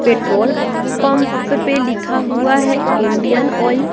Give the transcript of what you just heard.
Petrol pump पे लिखा हुआ है इंडियन ऑइल।